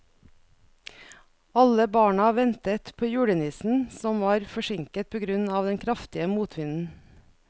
Alle barna ventet på julenissen, som var forsinket på grunn av den kraftige motvinden.